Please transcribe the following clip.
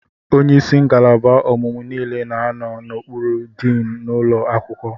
Onye isi ngalaba ọmụmụ niile na anọ n'okpuru diin n'ụlọ akwụkwọ.